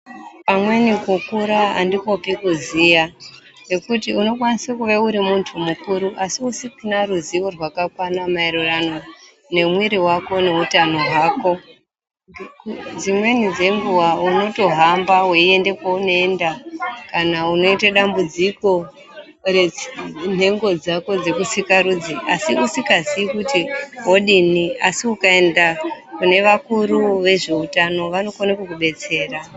Pamweni kukura andikwopi kuziya, ngekuti unokwanisa kuva uri muntu mukuru asi usina ruzivo rwakakwana maererani nemwiri wako neutano hwako. Dzimweni dzenguwa unotohamba weiende kwaunoenda kana unoita dambudziko renhengo dzako dzekusikarudzi, asi usikazii kuti wodini asi ukaenda kune vakuru vezveutano vanokone kukudetsera.